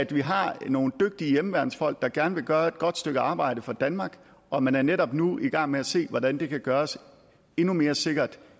vi har nogle dygtige hjemmeværnsfolk der gerne vil gøre et godt stykke arbejde for danmark og man er netop nu i gang med at se hvordan det kan gøres endnu mere sikkert